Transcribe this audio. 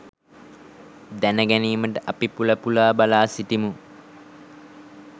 දැනගැනීමට අපි පුල පුලා බලා සිටිමු.